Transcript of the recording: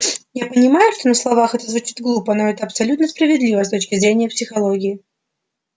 я понимаю что на словах это звучит глупо но это абсолютно справедливо с точки зрения психологии